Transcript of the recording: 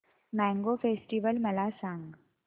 mango festival मला सांग